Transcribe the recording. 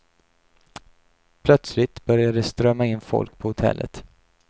Plötsligt började det strömma in folk på hotellet.